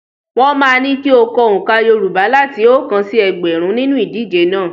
Wọ́n máa ní kí o kọ oǹkà Yorùbá láti oókan sí ẹgbẹ̀rún nínú ìdíje náà.